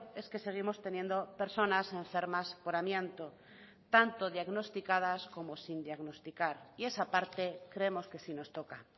es que seguimos teniendo personas enfermas por amianto tanto diagnosticadas como sin diagnosticar y esa parte creemos que sí nos toca